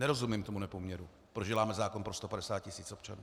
Nerozumím tomu nepoměru, proč děláme zákon pro 150 tisíc občanů.